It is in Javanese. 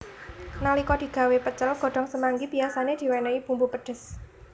Nalika digawé pecel godhong semanggi biyasané diwénéhi bumbu pedhes